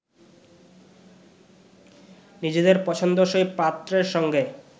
নিজেদের পছন্দসই পাত্রের সঙ্গে